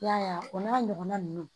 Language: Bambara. I y'a ye o n'a ɲɔgɔnna ninnu